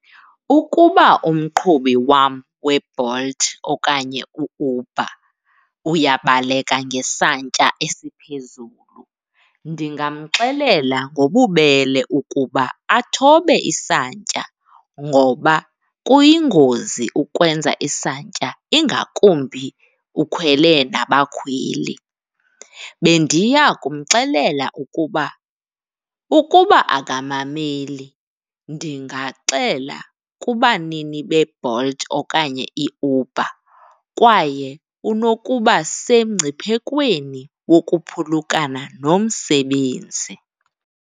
Ukuba umqhubi wam weBolt okanye uUber uyabaleka ngesantya esiphezulu, ndingamxelela ngobubele ukuba athobe isantya ngoba kuyingozi ukwenza isantya ingakumbi ukhwele nabakhweli. Bendiya kumxelela ukuba, ukuba angamameli ndingaxela kubanini beBolt okanye iUber kwaye unokuba semngciphekweni wokuphulukana nomsebenzi.